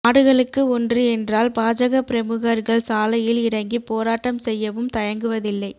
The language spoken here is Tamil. மாடுகளுக்கு ஒன்று என்றால் பாஜக பிரமுகர்கள் சாலையில் இறங்கி போராட்டம் செய்யவும் தயங்குவதில்லை